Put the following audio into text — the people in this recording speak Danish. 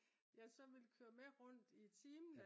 jeg så ville køre med rundt i timen